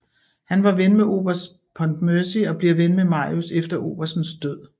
Han var ven med oberst Pontmercy og bliver ven med Marius efter oberstens død